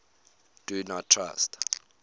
do not trust